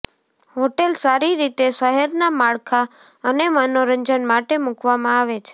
hotel સારી રીતે શહેરના માળખા અને મનોરંજન માટે મૂકવામાં આવે છે